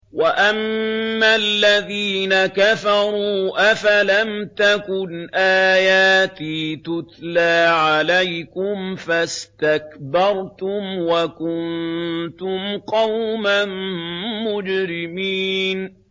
وَأَمَّا الَّذِينَ كَفَرُوا أَفَلَمْ تَكُنْ آيَاتِي تُتْلَىٰ عَلَيْكُمْ فَاسْتَكْبَرْتُمْ وَكُنتُمْ قَوْمًا مُّجْرِمِينَ